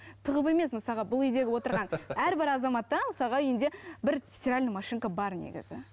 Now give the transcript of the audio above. тығып емес мысалға бұл үйдегі отырған әрбір азаматта мысалға үйінде бір стиральная машинка бар негізі